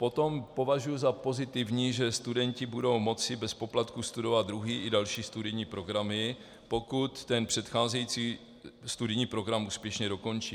Potom považuji za pozitivní, že studenti budou moci bez poplatku studovat druhý i další studijní programy, pokud ten předcházející studijní program úspěšně dokončí.